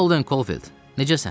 Holden Caulfield, necəsən?